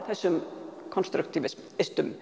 þessum